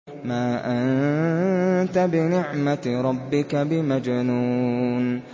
مَا أَنتَ بِنِعْمَةِ رَبِّكَ بِمَجْنُونٍ